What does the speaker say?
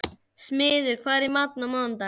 Smiður, hvað er í matinn á mánudaginn?